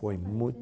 Foi muito...